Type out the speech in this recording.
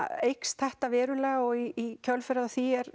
eykst þetta verulega og í kjölfarið á því er